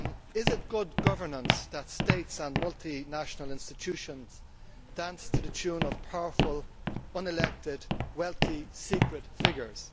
Is it good governance that states and multinational institutions dance to the tune of powerful unelected wealthy secret figures?